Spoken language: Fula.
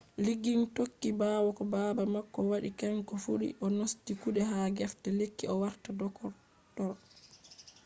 liggins tokki ɓawo ko baba mako waɗi kanko fu o nasti kuɗe ha gefe lekki o warta doktoro